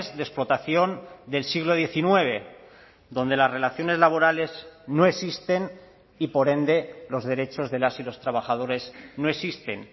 de explotación del siglo diecinueve donde las relaciones laborales no existen y por ende los derechos de las y los trabajadores no existen